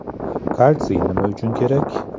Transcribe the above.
Kalsiy nima uchun kerak?